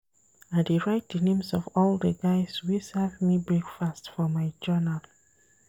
I dey write di names of all di guys wey serve me breakfast for my journal.